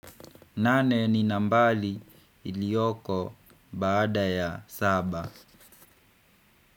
Nane ni nambari iliyoko baada ya saba.